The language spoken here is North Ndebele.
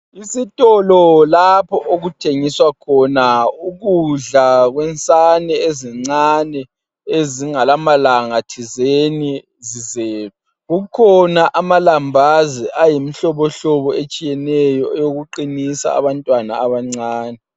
Isitolo lapho okuthengiswa khona ukudla kwensane ezincane ezingelamalanga zizelwe. Kukhona amalambazi ayimihlobo etshiyeneyo eyokuqinisa abantwana abancane.